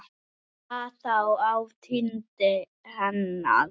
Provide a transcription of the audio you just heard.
Hvað þá á tindi hennar.